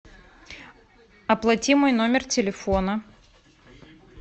оплати мой номер телефона